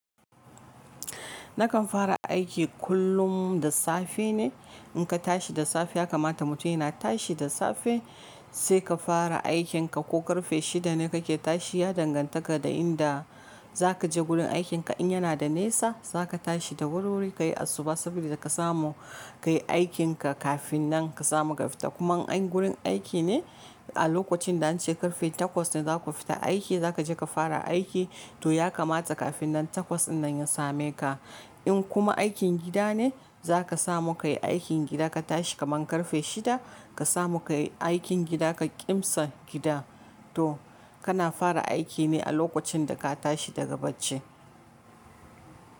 Nakan fara aiki kullum da safe ne. In ka tashi da safe ya kamata mutum yana tashi da safe sai ka fara aikin ka. Ko karfe shida ne ka ke tashi ya dangantaka da inda za ka je gurin aikin ka. In yana da nesa za ka tashi da wuri wuri ka yi asuba saboda ka samu ka yi aikin ka kafin nan ka samu ka fita. Kuman in agurin aiki ne a lokacin da an ce karfe takwas ne za ku fita aiki za ka je ka fara aiki to ya kamata kafin nan takwas in nan ya same ka. In kuma aikin gida ne za ka samu ka yi aikin gida ka tashi kaman karfe shida ka samu ka yi aikin gida ka ƙimsa gida to kana fara aiki ne a lokacin da ka tashi daga bacci.